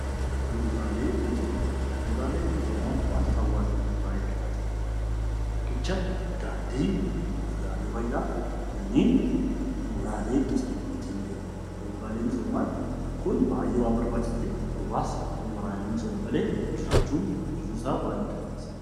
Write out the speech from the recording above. Bu'uraalee misoomaa Bu'uraaleen misoomaa wantoota hawwaasa keessatti baay'ee barbaachisaa dha. Riqicha, daandii, bu'uraalee fayyaa. Kunneen Bu'uraalee misoomaa jedhamuun beekamu. Bu'uraaleen miisomaa kun baay'ee waan barbaachisuu fi hawaasni bu'uraalee misoomaa malee jiraachuun jiruu isaa baay'ee itti ulfeessa.